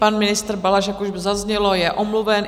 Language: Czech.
Pan ministr Balaš, jak už zaznělo, je omluven.